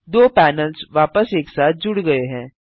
दो पैनल्स वापस एक साथ जुड़ गये हैं